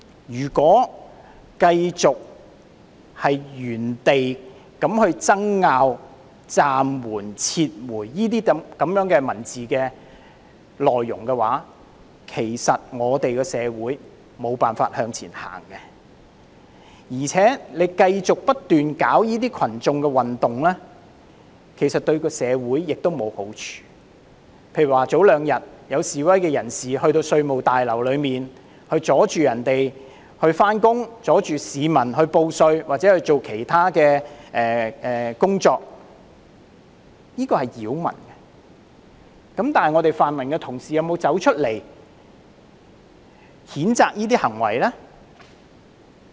如果繼續原地爭拗暫緩或撤回這些文字內容，社會便無法再向前走，而且繼續不斷搞群眾運動，對社會亦沒有好處，例如兩天前有示威人士到稅務大樓阻礙職員上班，阻礙市民報稅或做其他的工作，這是擾民，但泛民同事有否出來譴責這些行為呢？